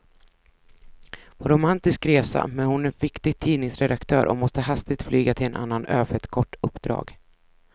På romantisk resa, men hon är viktig tidningsredaktör och måste hastigt flyga till en annan ö för ett kort uppdrag.